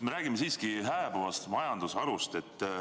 Me räägime siiski hääbuvast majandusharust.